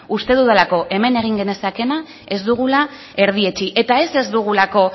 uste dudalako hemen egin genezakeena ez dugula erdietsi eta ez ez dugulako